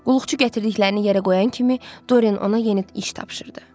Qulluqçu gətirdiklərini yerə qoyan kimi Doren ona yeni iş tapşırırdı.